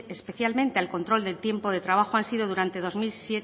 especialmente al control del tiempo de trabajo han sido durante